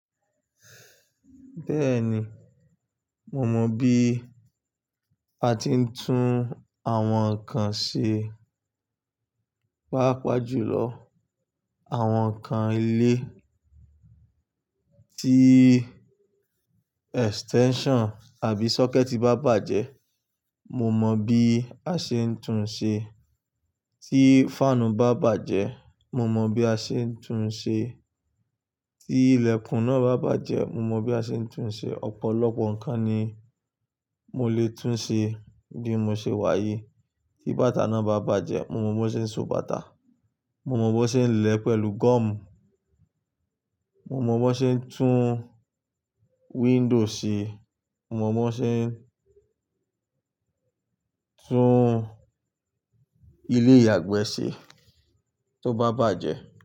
Bẹ́ẹ̀ni, mo mọ bí a ti ń tún àwọn nǹkan ṣe. Páápàá jùlọ àwọn ǹkan ilé tí extension àbí socket bá bàjẹ́, mo mọ bí a ṣe ń tún ṣe. Tí fan bá bàjẹ́, mo mọ bí a ṣe ń tún ṣe. Tí ilẹ̀kùn náà bá bàjẹ́, mo mọ bí a ṣe ń tún ṣe. Ọ̀pọ̀lọpọ̀ nǹkan ni mo lè tún ṣe bí mo ṣe wà yìí. Tí bàtà náà bá bàjẹ́, mo mọ bó ṣe ń so bàtà, mo mọ bó ṣe ń lẹ̀ pẹ̀lú gọ́ọ̀mù, mo mọ bó ṣe ń tún window ṣe, mo mọ bó ṣe ń tún ilé ìyàgbẹ́ ṣe tó bá bàjẹ́.